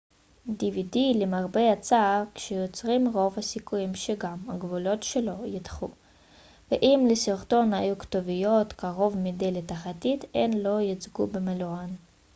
למרבה הצער כשיוצרים dvd רוב הסיכויים שגם הגבולות שלו ייחתכו ואם לסרטון היו כתוביות קרוב מדי לתחתית הן לא יוצגו במלואן